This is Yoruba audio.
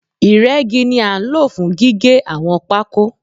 Ìrẹ́gi ni a nlo fún gígé àwọn pákó